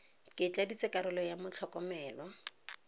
ke tladitse karolo ya motlhokomelwa